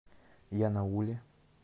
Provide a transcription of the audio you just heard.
янауле